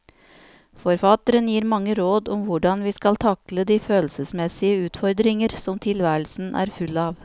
Forfatteren gir mange råd om hvordan vi skal takle de følelsesmessige utfordringer som tilværelsen er full av.